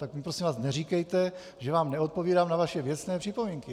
Tak mi, prosím vás, neříkejte, že vám neodpovídám na vaše věcné připomínky.